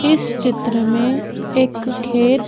इस चित्र में एक खेल--